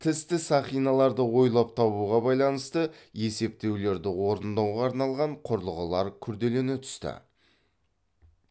тісті сақиналарды ойлап табуға байланысты есептеулерді орындауға арналған құрылғылар күрделене түсті